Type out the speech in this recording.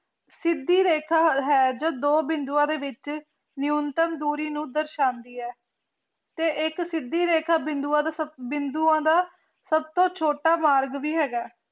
ਸਿੱਧੀ ਰੈਖਾ ਹੈ ਜੋ ਦੋ ਬਿੰਦੁਆ ਦੇ ਵਿੱਚ ਨੀਉਮਤ ਦੂਰੀ ਨੂੰ ਦਰਸਾਉਂਦੀ ਹੈ ਤੇ ਇੱਕ ਸਿੱਧੀ ਰੇਖੀ ਬਿੰਦੁਆ ਤੋਂ ਬਿੰਦੁਆਂ ਦਾ ਸੱਭ ਤੋ ਛੋਟਾ ਮਾਰਗ ਵੀ ਹੈਗਾ